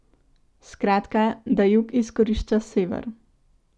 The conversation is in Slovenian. Skratka, da jug izkorišča sever.